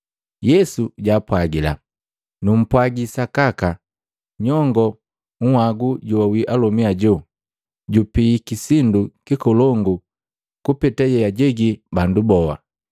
Yesu jaapwagila, “Numpwagi sakaka, nyongo nhwagu joawi alomi ajo jupiiki sindu kikolongu kupeta yeajegi bandu boa.